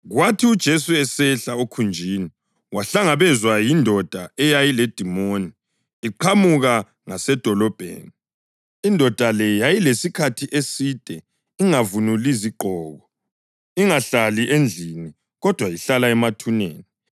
Kwathi uJesu esehla okhunjini wahlangabezwa yindoda eyayiledimoni iqhamuka ngasedolobheni. Indoda le yayisilesikhathi eside ingavunuli zigqoko, ingahlali endlini, kodwa ihlala emathuneni.